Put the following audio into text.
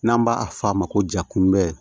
N'an b'a f'a ma ko ja kunbɛ